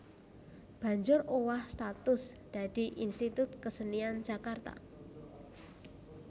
banjur owah status dadi Institut Kesenian Jakarta